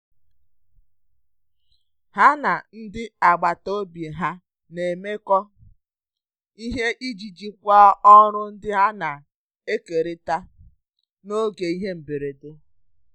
Ha na ndị agbata obi ha na-emekọ ihe iji jikwaa ọrụ ndị a na-ekerịta n'oge ihe mberede.